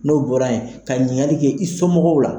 N'o bɔra yen, ka ɲinigali kɛ i somɔgɔw la.